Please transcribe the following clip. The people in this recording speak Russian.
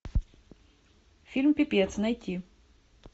фильм пипец найти